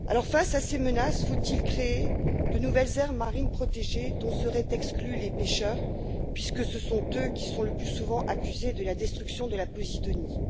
Face à ces menaces, faut il créer de nouvelles aires marines protégées dont seraient exclus les pêcheurs, puisque ce sont eux qui sont le plus souvent accusés de la destruction de la posidonie?